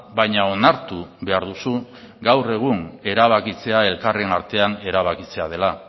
baina onartu behar duzu gaur egun erabakitzea elkarren artean erabakitzea dela